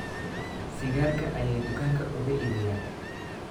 Sigaarka ayay dukaanka uga iibiyaan